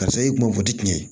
Karisa i kun b'o fɔ di tiɲɛ